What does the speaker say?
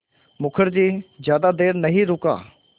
मुखर्जी ज़्यादा देर नहीं रुका